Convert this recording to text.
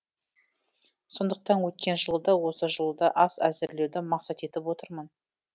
сондықтан өткен жылы да осы жылы да ас әзірлеуді мақсат етіп отырмын